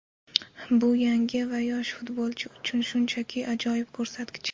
Bu yangi va yosh futbolchi uchun shunchaki ajoyib ko‘rsatkich.